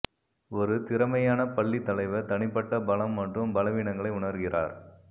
ஒரு திறமையான பள்ளி தலைவர் தனிப்பட்ட பலம் மற்றும் பலவீனங்களை உணர்கிறார்